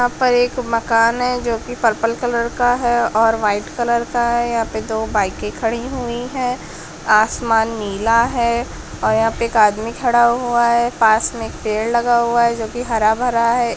यहाँ पर एक मकान है जो की पर्पल कलर का है और व्हाइट कलर का है यहा पे दो बाइकें खड़ी हुई है आसमान नीला है और यहाँ पे एक आदमी खड़ा हुआ है पास में एक पेड़ लगा हुआ है जो की हर भर है।